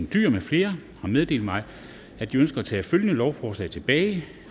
dyhr med flere har meddelt mig at de ønsker at tage følgende lovforslag tilbage